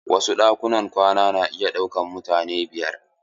Wasu ɗakunan kwana na iya ɗaukan mutane biyar.